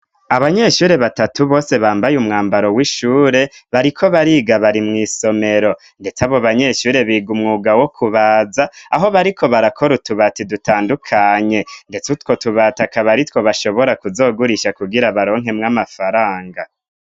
Abanyeshuri batatu bose bambaye umwambaro w'ishure bariko bariga bari mw'isomero, ndetse abo banyeshuri biga umwuga wo kubaza aho bariko barakora utubati dutandukanye, ndetse utwo tubatakabari two bashobora kuzogurisha kugira baronkemwe amafaranga.